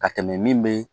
Ka tɛmɛ min be